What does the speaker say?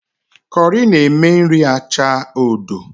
Kọrị na-eme nri acha odo